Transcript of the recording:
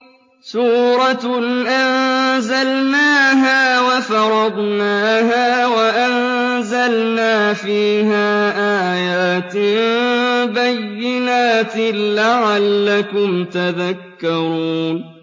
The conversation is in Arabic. سُورَةٌ أَنزَلْنَاهَا وَفَرَضْنَاهَا وَأَنزَلْنَا فِيهَا آيَاتٍ بَيِّنَاتٍ لَّعَلَّكُمْ تَذَكَّرُونَ